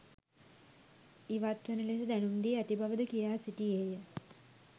ඉවත් වන ලෙස දැනුම් දී ඇති බව ද කියා සිටියේය.